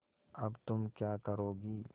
अब तुम क्या करोगी